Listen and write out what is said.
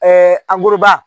ankuruba